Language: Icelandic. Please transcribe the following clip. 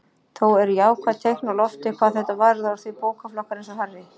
Þó eru jákvæð teikn á lofti hvað þetta varðar því bókaflokkar eins og Harry